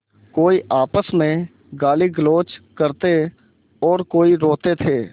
कोई आपस में गालीगलौज करते और कोई रोते थे